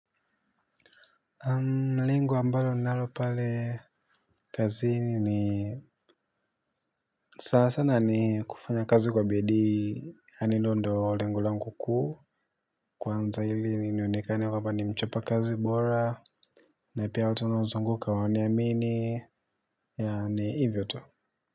Mlingo ambalo ninalo pale kazini ni sasa sana ni kufanya kazi kwa bidii yaani hilo ndio lengo langu kuu. Kwanza ili ni nionekane kwamba ni mchapa kazi bora. Na pia watu ninaozunguka waniamini. Yaani hivyo tu.